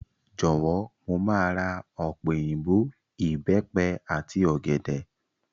Jọ̀wọ́, mo máa ra ọ̀pẹ̀ òyìnbò, Ìbẹ́pẹ àti ọ̀gẹ̀dẹ̀.